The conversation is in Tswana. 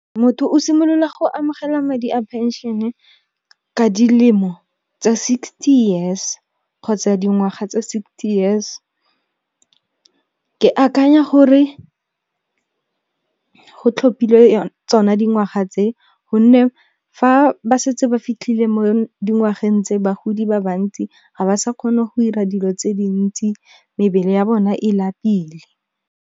Motho o simolola go amogela madi a phenšene ka dilemo tseo tsa sixty years, kgotsa dingwaga tsa sixty years. Ke akanya gore, go tlhophile tsona dingwaga tse gonne fa ba setse ba fitlhile mo dingwageng tse bagodi ba bantsi, ga ba sa kgone go dira dilo tse dintsi mebele ya bona e lapile.